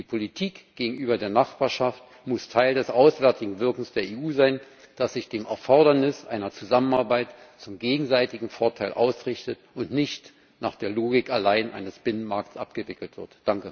Die Politik gegenüber der Nachbarschaft muss Teil des auswärtigen Wirkens der EU sein, das sich an dem Erfordernis einer Zusammenarbeit zum gegenseitigen Vorteil ausrichtet und nicht nach der Logik allein eines Binnenmarkts abgewickelt wird.